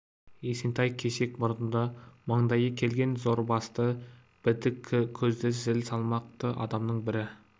есентай кесек мұрынды маңдайы келген зор басты бітік көзді зіл салмақты адамның бірі